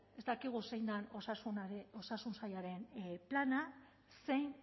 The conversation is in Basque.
ez dakigu zein den osasun sailaren plana zein